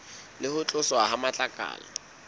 le ho tloswa ha matlakala